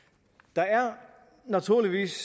der er naturligvis